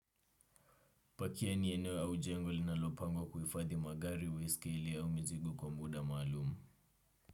Pakia ni eneo au jengo linalopangwa kuhifadhi magari baiskeli au mizigo kwa muda maalumu.